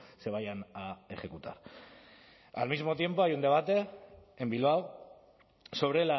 se vayan a ejecutar al mismo tiempo hay un debate en bilbao sobre